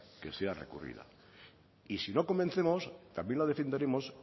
que sea recurrida y si no convencemos también la defenderemos